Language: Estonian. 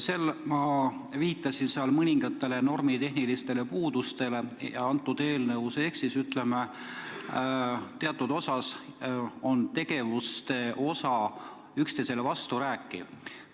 Ma viitasin seal mõningatele normitehnilistele puudustele eelnõus, näiteks teatud tegevused on üksteise suhtes vastukäivad.